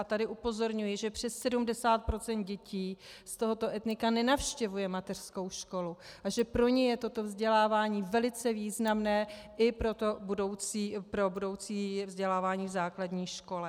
A tady upozorňuji, že přes 70 % dětí z tohoto etnika nenavštěvuje mateřskou školu a že pro ně je toto vzdělávání velice významné i pro budoucí vzdělávání v základní škole.